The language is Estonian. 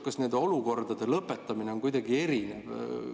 Kas nende olukordade lõpetamine on kuidagi erinev?